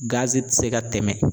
tI se ka tɛmɛ.